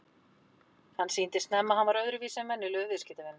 Hann sýndi snemma að hann var öðruvísi en venjulegur viðskiptavinur.